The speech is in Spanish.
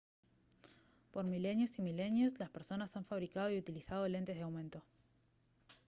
por milenios y milenios las personas han fabricado y utilizando lentes de aumento